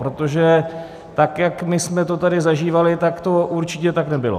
Protože tak, jak my jsme to tady zažívali, tak to určitě tak nebylo.